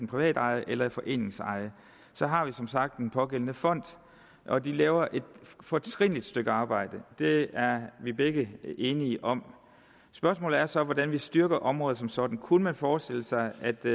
privatejede eller foreningsejede har vi som sagt den pågældende fond og de laver et fortrinligt stykke arbejde det er vi begge enige om spørgsmålet er så hvordan vi styrker området som sådan kunne man forestille sig at det